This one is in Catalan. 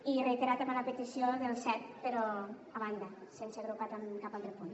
i reiterar també la petició del set però a banda sense agrupar amb cap altre punt